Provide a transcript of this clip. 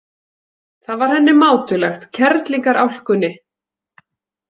Það var henni mátulegt, kerlingarálkunni.